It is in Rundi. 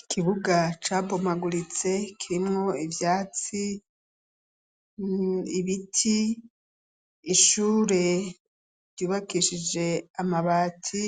Ikibuga cabomaguritse kirimwo ivyatsi, ibiti. Ishure ryubakishije amabati,